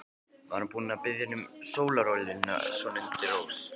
Var hún að biðja hann um sólarolíuna svona undir rós?